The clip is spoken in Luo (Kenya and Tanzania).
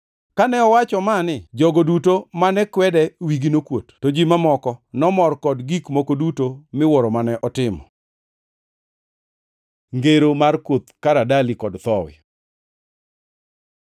Kane owacho mani, jogo duto mane kwede wigi nokuot. To ji mamoko nomor kod gik moko duto miwuoro mane otimo. Ngero mar Koth Karadali kod Thowi